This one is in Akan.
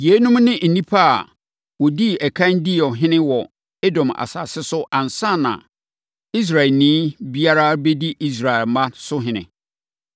Yeinom ne nnipa a wɔdii ɛkan dii ɔhene wɔ Edom asase so ansa na Israelni biara rebɛdi Israel mma so ɔhene: